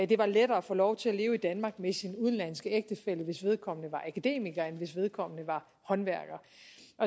det var lettere at få lov til at leve i danmark med sin udenlandske ægtefælle hvis vedkommende var akademiker end hvis vedkommende var håndværker